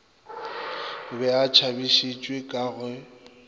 be a tšhabišitšwe ka ge